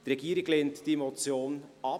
Die Regierung lehnt diese Motion ab.